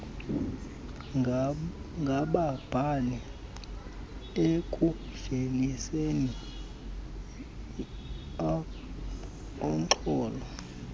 ngababhali ekuveliseni urnxholo